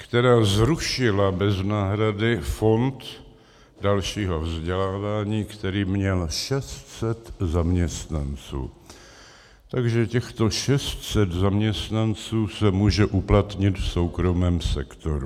Která zrušila bez náhrady fond dalšího vzdělávání, který měl 600 zaměstnanců, takže těchto 600 zaměstnanců se může uplatnit v soukromém sektoru.